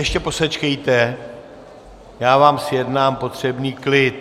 Ještě posečkejte, já vám zjednám potřebný klid.